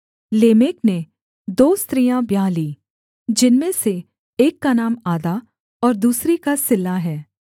Lamech ने दो स्त्रियाँ ब्याह लीं जिनमें से एक का नाम आदा और दूसरी का सिल्ला है